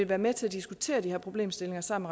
være med til at diskutere de her problemstillinger sammen